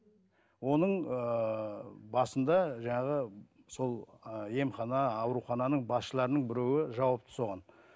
оның ыыы басында жаңағы сол ы емхана аурухананың басшыларының біреуі жауапты соған